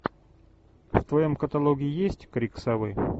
в твоем каталоге есть крик совы